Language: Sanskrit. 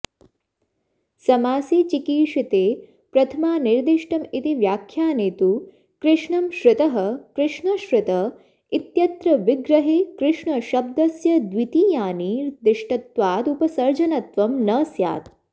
समासे चिकीर्षिते प्रथमानिर्धिष्टमिति व्याख्याने तु कृष्णं श्रितः कृष्णश्रित इत्यत्र विग्रहे कृष्णशब्दस्य द्वितीयानिर्दिष्टत्वादुपसर्जनत्वं न स्यात्